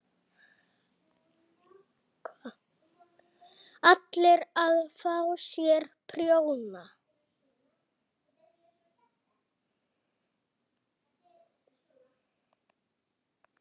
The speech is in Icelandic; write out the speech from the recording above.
ALLIR AÐ FÁ SÉR PRJÓNA!